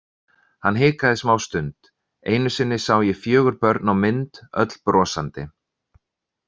Hann hikaði smástund: Einu sinni sá ég fjögur börn á mynd, öll brosandi.